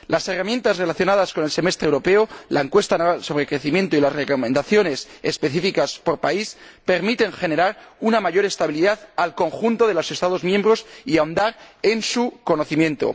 Las herramientas relacionadas con el semestre europeo, la encuesta sobre crecimiento y las recomendaciones específicas por país permiten generar una mayor estabilidad para el conjunto de los Estados miembros y ahondar en su conocimiento.